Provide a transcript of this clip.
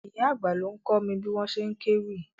Ìyá àgbà ló ń kọ́ mi bí wọ́n ṣe kéwì.